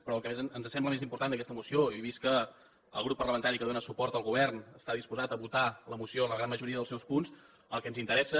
però el que ens sembla més important d’aquesta moció i vist que el grup parlamentari que dóna suport al govern està disposat a votar la moció la gran majoria dels deu punts el que ens interessa